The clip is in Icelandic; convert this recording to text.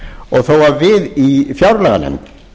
og þó að við í fjárlaganefnd